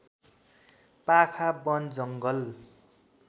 पाखा वन जङ्गल